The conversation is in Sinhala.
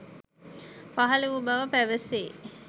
පහළ වූ බව පැවැසේ.